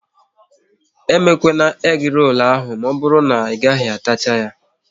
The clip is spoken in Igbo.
Emekwana egi rolu ahụ maọbụru na Ị gaghị atacha ya!